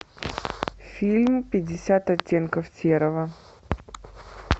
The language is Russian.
фильм пятьдесят оттенков серого